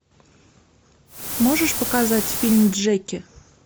можешь показать фильм джеки